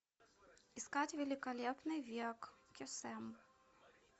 искать великолепный век кесем